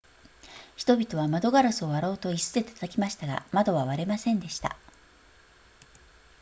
人々は窓ガラスを割ろうと椅子で叩きましたが窓は割れませんでした